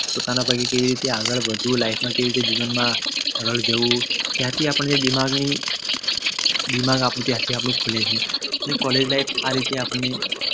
પોતાના પગે કેવી રીતે આગળ વધવું કેવી રીતે જીવનમાં આગળ જવું ત્યાંથી આપણને દિમાગની દિમાગ આપણું ત્યાંથી ખુલે છે ને એ College life આપણને